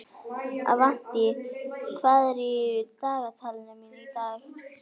Avantí, hvað er í dagatalinu mínu í dag?